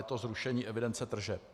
Je to zrušení evidence tržeb.